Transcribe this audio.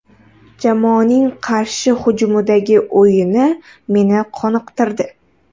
Jamoaning qarshi hujumdagi o‘yini meni qoniqtirdi.